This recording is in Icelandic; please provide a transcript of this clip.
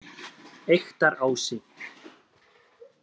Eyktarási